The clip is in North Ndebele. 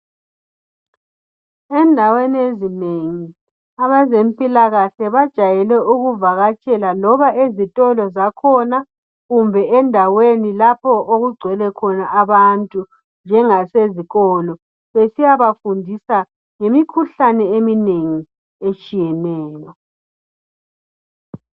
Endaweni ezinengi abazempila kahle bajayele ukuvakatshela loba ezitolo zakhona kumbe endaweni lapho okugcwele khona abantu njengase zikolo besiyabafundisa ngemikhuhlane eminengi etshiyeneyo